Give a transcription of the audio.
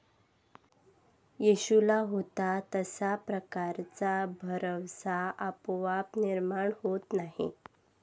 येशूला होता तशा प्रकारचा भरवसा आपोआप निर्माण होत नाही.